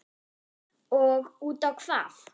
Og útá hvað?